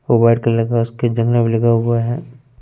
वर्तालब हुआ उसके जंगल लगा हुआ है।